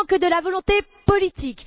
Il ne manque que la volonté politique.